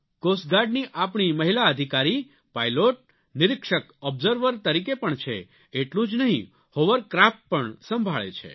cost ગાર્ડની આપણી મહિલા અધિકારી પાઇલોટ નિરીક્ષક ઓબ્ઝર્વર તરીકે પણ છે એટલું જ નહીં હોવરક્રાફ્ટ પણ સંભાળે છે